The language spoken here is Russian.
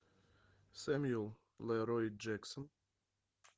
сэмюэл лерой джексон